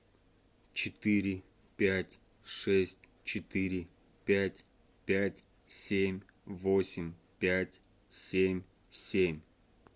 четыре пять шесть четыре пять пять семь восемь пять семь семь